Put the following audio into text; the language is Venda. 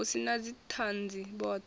hu si na dzithanzi vhothe